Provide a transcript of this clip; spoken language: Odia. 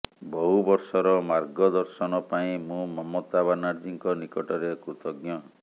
ବହୁ ବର୍ଷର ମାର୍ଗଦର୍ଶନ ପାଇଁ ମୁଁ ମମତା ବାନାର୍ଜୀଙ୍କ ନିକଟରେ କୃତଜ୍ଞ